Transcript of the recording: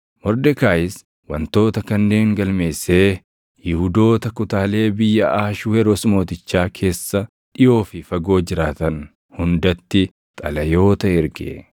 Mordekaayis wantoota kanneen galmeessee Yihuudoota kutaalee biyya Ahashweroos Mootichaa keessa dhiʼoo fi fagoo jiraatan hundatti xalayoota erge;